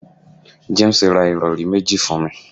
James ra irọri meji fun mi